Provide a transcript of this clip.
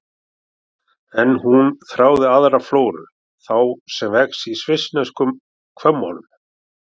En hún þráði aðra flóru, þá sem vex í svissneskum hvömmum.